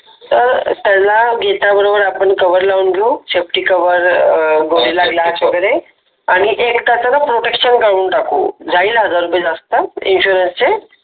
त्याला घेता बरोबर आपण कव्हर लावून घेऊ सेफटी कव्हर गोरिल्ला ग्लास वगैरे आणि एक त्याचं ना प्रोटेकशन करून टाकू जाईल हजार रुपये जास्त इन्शुरन्स चे